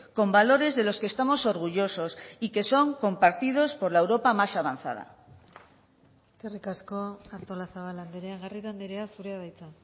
con valores de los que estamos orgullosos y que son compartidos por la europa más avanzada eskerrik asko artolazabal andrea garrido andrea zurea da hitza